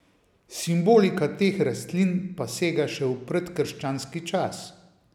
Simbolika teh rastlin pa sega še v predkrščanski čas.